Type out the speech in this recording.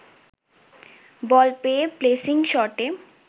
বল পেয়ে প্লেসিং শটে